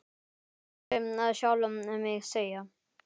Og ég heyri sjálfa mig segja